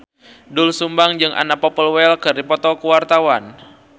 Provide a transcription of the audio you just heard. Doel Sumbang jeung Anna Popplewell keur dipoto ku wartawan